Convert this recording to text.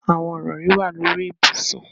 Awọn irọri wa lori ibusun.